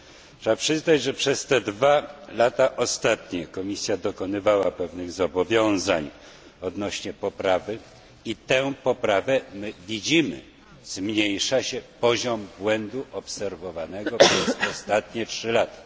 Trzeba przyznać, że przez te dwa ostatnie lata Komisja dokonywała pewnych zobowiązań odnośnie poprawy i tę poprawę my widzimy zmniejsza się poziom błędu obserwowanego przez ostatnie trzy lata.